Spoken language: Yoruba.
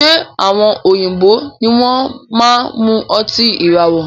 Ṣe àwọn òyìnbó ní wọn máa n mú ọtí ìràwọ̀?